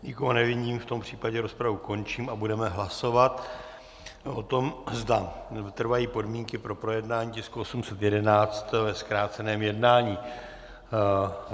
Nikoho nevidím, v tom případě rozpravu končím a budeme hlasovat o tom, zda trvají podmínky pro projednání tisku 811 ve zkráceném jednání.